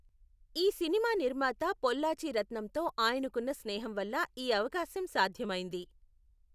ఈ సినిమా నిర్మాత పొల్లాచి రత్నంతో ఆయనకున్న స్నేహం వల్ల ఈ అవకాశం సాధ్యమైంది.